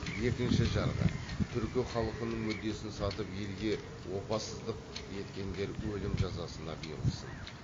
екінші жарғы түркі халқының мүддесін сатып елге опасыздық еткендер өлім жазасына бұйырылсын